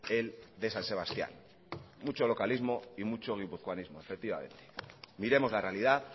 el de san sebastían mucho localismo y mucho guipuzcoanismo efectivamente miremos la realidad